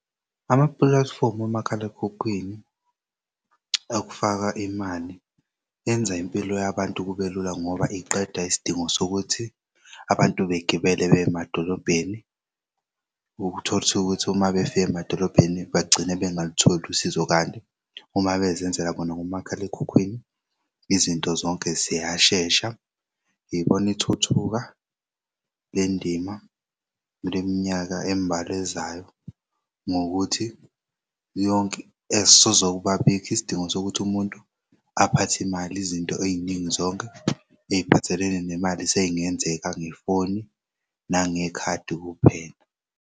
Amapulathifomu omakhalekhukhwini okufaka imali enza impilo yabantu kube lula ngoba iqeda isidingo sokuthi abantu begibele beya emadolobheni uthol'thukuthi mabefika emadolobheni bagcine bengalutholi usizo kanti uma bezenzela bona ngomakhalekhukhwini izinto zonke ziyashesha. Ngibona ithuthuka lendima luleminyaka embalwa ezayo ngokuthi esezokubabikho isidingo sokuthi umuntu aphathe imali izinto ey'ningi zonke ey'phathelene nemali sey'ngenzeka ngefoni nangekhadi kuphela.